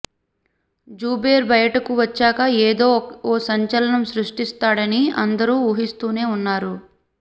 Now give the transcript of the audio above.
జుబేర్ బయటకు వచ్చాక ఏదో ఓ సంచలనం సృష్టిస్తాడని అందరూ ఊహిస్తూనే ఉన్నారు